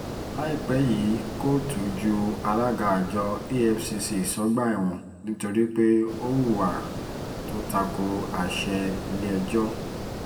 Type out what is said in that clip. láìpẹ́ yìí kóòtù ju alága àjọ efcc sọ́gbà ẹ̀wọ̀n nítorí pé ó hùwà tó ta ko àṣẹ ilé-ẹjọ́